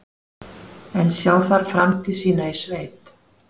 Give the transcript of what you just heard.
En sjá þær framtíð sína í sveit?